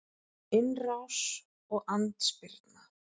Innrás og andspyrna